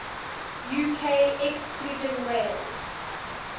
uk excluding wales